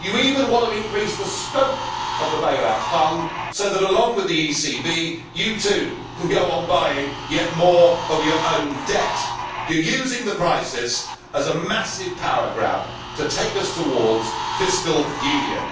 You even want to increase the scope of the bail out fund so that, along with the ECB, you, too, can go on buying yet more of your own debt. You are using the crisis as a massive power grab to take us towards fiscal union.